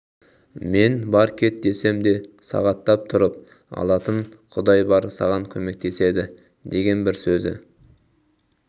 мен бар кет десем де сағаттап тұрып алатын құдай бар саған көмектеседі деген бір сөзі